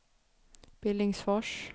Billingsfors